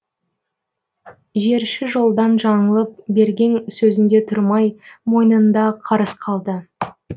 жерші жолдан жаңылып берген сөзінде тұрмай мойнында қарыз қалды